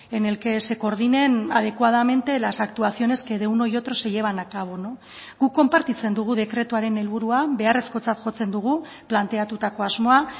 en el que se coordinen adecuadamente las actuaciones que de uno y otro se llevan a cabo guk konpartitzen dugu dekretuaren helburua beharrezkotzat jotzen dugu planteatutako asmoa